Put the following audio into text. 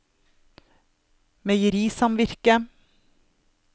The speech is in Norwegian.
meierisamvirket